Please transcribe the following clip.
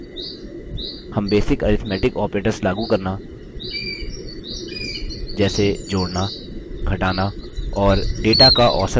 हम basic arithmetic operators लागू करना जैसे जोड़ना घटाना और data का औसत निकालना पहले ही सीख चुके हैं